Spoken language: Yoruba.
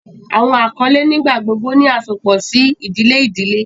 Awọn akọle nigbagbogbo ni asopọ si idile idile.